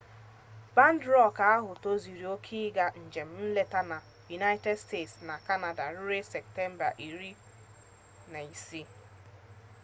bandị rọk ahụ tozuru oke ịga njem nleta na united states na kanada ruo septemba 16